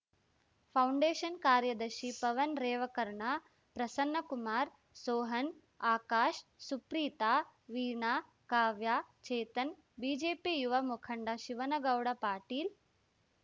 foundation ಕಾರ್ಯದರ್ಶಿ Pavan Revakarna Prasannakumar Sohan Akash Supreetha Veena Kavya Chetan BJP ಯುವ ಮುಖಂಡ ಶಿವನಗೌಡ ಪಾಟೀಲ್‌